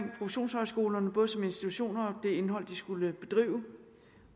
professionshøjskolerne både som institutioner og det indhold de skulle have